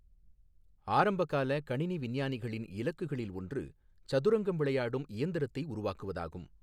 ஆரம்பகால கணினி விஞ்ஞானிகளின் இலக்குகளில் ஒன்று சதுரங்கம் விளையாடும் இயந்திரத்தை உருவாக்குவதாகும்.